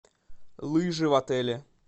лыжи в отеле